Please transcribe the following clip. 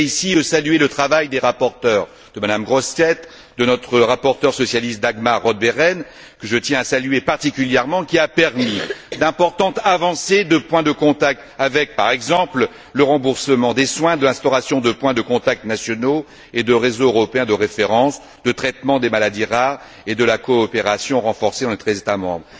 Je voudrais ici saluer le travail des rapporteurs Mme Grossetête, et notre rapporteure socialiste, Dagmar Roth Behrendt, que je tiens à saluer particulièrement qui a permis d'importantes avancées avec, par exemple, le remboursement des soins, l'instauration de points de contact nationaux et de réseaux européens de référence, le traitement des maladies rares et la coopération renforcée entre les États membres.